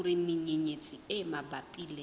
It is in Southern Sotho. hore menyenyetsi e mabapi le